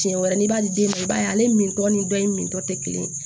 Tiɲɛ wɛrɛ n'i b'ale den minɛ i b'a ye ale min tɔ ni dɔ in mintɔ tɛ kelen ye